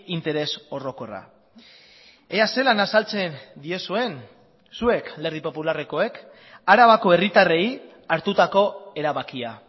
interes orokorra ea zelan azaltzen diezuen zuek alderdi popularrekoek arabako herritarrei hartutako erabakia